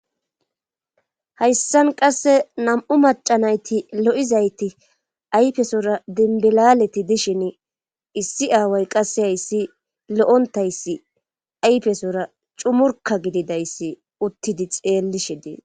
hayssan qasse nam'u macanayti lo'izayti aypesora dinbilaleti dishin issi aaway qassi hayssi loontayssi aypesora cumurka gididayssi uttidi xeellishe dees